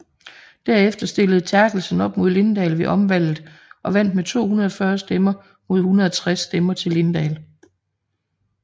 Derefter stillede Therkelsen op mod Linddahl ved omvalget og vandt med 240 stemmer mod 160 stemmer til Linddahl